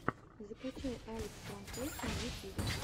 закачай алекстранслейшен в ютубе